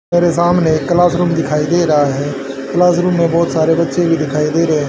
मेरे सामने class room दिखाई दे रहा है क्लास रूम में बहोत सारे बच्चे भी दिखाई दे रहे--